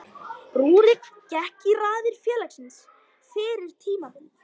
Rúrik gekk í raðir félagsins fyrir tímabilið.